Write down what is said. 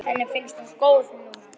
Henni finnst hún góð núna.